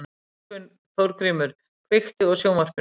Þórgrímur, kveiktu á sjónvarpinu.